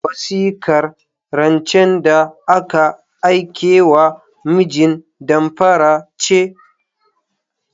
Wasikar rancen da aka aikewa mijin damfara ce.